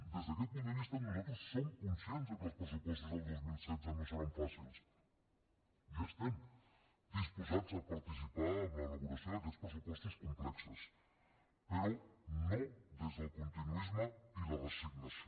des d’aquest punt de vista nosaltres som conscients que els pressupostos del dos mil setze no seran fàcils i estem disposats a participar en l’elaboració d’aquests pressupostos complexos però no des del continuisme i la resignació